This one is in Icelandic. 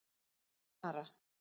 Kara